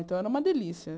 Então, era uma delícia.